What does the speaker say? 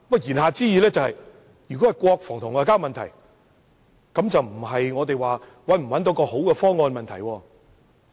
言下之意，如果是國防和外交問題，便不再是能否找到好方案的問題。